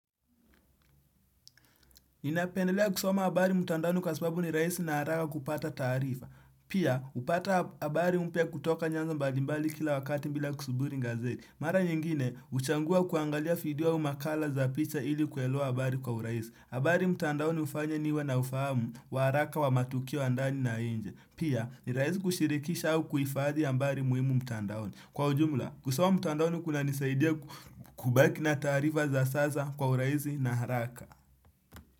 Ninapendelea kusoma habari mtandaoni kwa sababu ni rahisi na haraka kupata taarifa. Pia, hupata habari mpya kutoka nyanzo mbalimbali kila wakati bila kusuburi gazeti. Mara nyingine, huchagua kuangalia video au makala za picha ili kuelewa habari kwa urahisi. Habari mtandaoni hufanya niwe na ufahamu wa haraka wa matukio ya ndani na nje. Pia, ni rahisi kushirikisha kuhifadhi habari muhimu mtandaoni. Kwa ujumla, kusoma mtandaoni kunanisaidia kubaki na taarifa za sasa kwa urahisi na haraka.